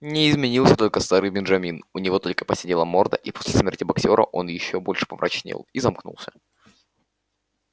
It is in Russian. не изменился только старый бенджамин у него только поседела морда и после смерти боксёра он ещё больше помрачнел и замкнулся